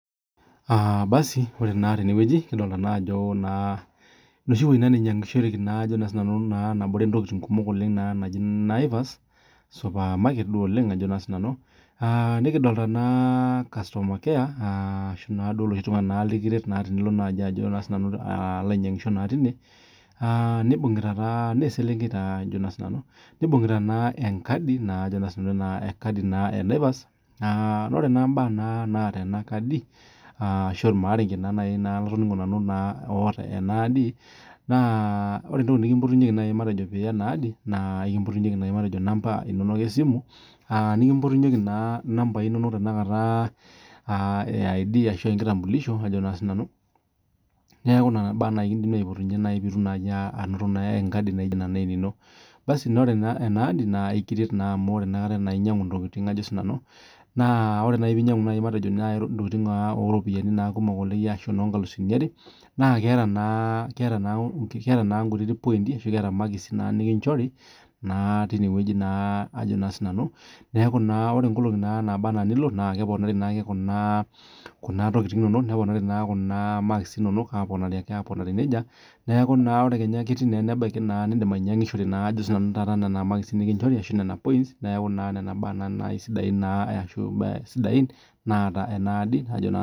Aa basu ore na tenewueji kidolta ajo enoshi wueji nainyangishoreki naji naivas supermarket nai oleng nikidolta nai customer care aa ashu nai loshi tunganak lilirwt tenilobainyangisho tine na eselenkei nibungita enkadi enaivas na ore naa mbaa naata enakadi ashu irmarenke oota enakadi nanu naa ore entoki nikimpotinyeki yawa na ekimpotunyeki nai matejo namba inono esimu nikimpotunyeki namba inonok eaidi ashu enkitampulisho nealu nona baa kidim aipotunye pitum enkadi naijo enino na ekiret amu ore pinyangu ntokitin oropiyiani kumok ashu nonkalusuni are naa keta makisi nikinchori ajo na sinanu neaku ore nkolongi naba ana nilo na keponari naake kuna tokitin inonok neponari kuna makisi inonok na indim ainyangishore nona makisi neaku nona baa sidain naata enakadi.